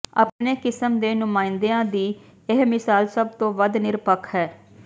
ਆਪਣੀ ਕਿਸਮ ਦੇ ਨੁਮਾਇੰਦੇਾਂ ਦੀ ਇਹ ਮਿਸਾਲ ਸਭ ਤੋਂ ਵੱਧ ਨਿਰਪੱਖ ਹੈ